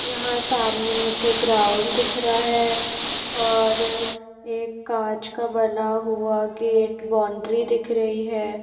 यहाँ सामने मुझे ग्राउंड दिख रहा है और एक कांच का बना हुआ गेट बाउंड्री दिख रही है।